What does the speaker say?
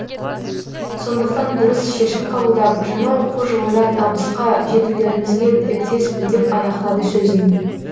сондықтан дұрыс шешім қабылдап жаңа оқу жылында табысқа жетулеріңізге тілектеспін деп аяқтады сөзін